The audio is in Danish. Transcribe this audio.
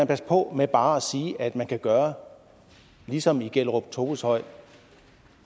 passe på med bare at sige at man kan gøre ligesom i gellerup toveshøj